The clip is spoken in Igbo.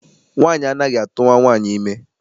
Nwaanyị anaghị atụwa nwaanyị ime.